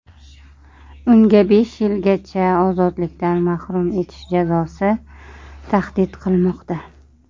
Unga besh yilgacha ozodlikdan mahrum etish jazosi tahdid qilmoqda.